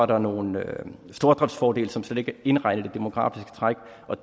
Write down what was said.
der nogle stordriftsfordele som slet ikke er indregnet i det demografiske træk